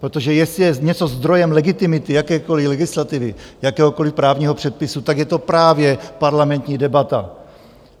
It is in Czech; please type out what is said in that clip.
Protože jestli je něco zdrojem legitimity jakékoli legislativy, jakéhokoli právního předpisu, tak je to právě parlamentní debata.